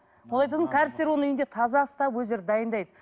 кәрістер оны үйінде таза ұстап өздері дайындайды